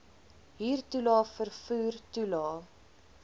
huurtoelae vervoer toelae